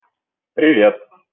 привет